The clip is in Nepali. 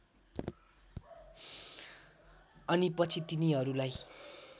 अनि पछि तिनीहरूलाई